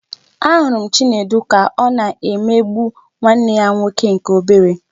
A hụrụ m Chinedu ka ọ na-emegbu nwanne ya nwoke nke obere